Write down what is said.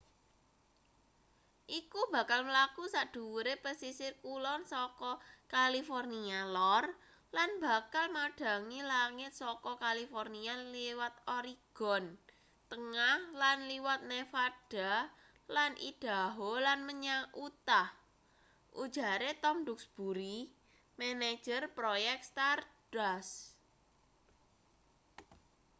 iku bakal mlaku sadhuwure pesisir kulon saka california lor lan bakal madhangi langit saka california liwat oregon tengah lan liwat nevada lan idaho lan menyang utah ujare tom duxbury manajer proyek stardust